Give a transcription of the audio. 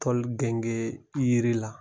Toli gengen yiri la